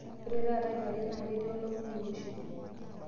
ore taata kiwarie naa ketii olomoni oiroshi